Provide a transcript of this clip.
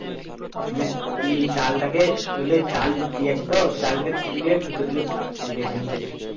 মানে ওই জালটাকে ধরলে জাল দিয়েছে তো জাল তাকে তুলে ভিতরে দিকে তুলে ঢুকছে নিচের দিকে